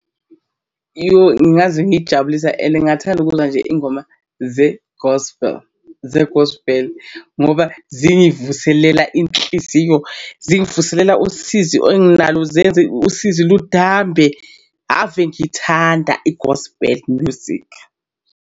Yoh ngingaze ngijabulisa and ngingathanda ukubuza nje iy'ngoma ze-gospel ze-gospel ngoba zingivuselela inhliziyo zingivuselela usizi enginalo, zenze usizi ludambe. Ave ngithanda i-gospel music.